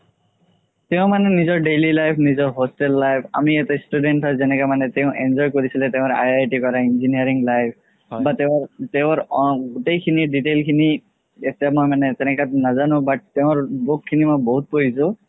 তেও মানে নিজৰ daily life নিজৰ hostel life আমি এটা student হয় যেনেকে মানে তেও enjoy কৰিছিলে তেওৰ IIT কৰা engineering life তেওঁৰ তেওঁৰ আ গুতেই খিনি detail খিনি তেনেকুৱা নাজানো but তেওঁৰ book খিনি মই বহুত পঢ়িছো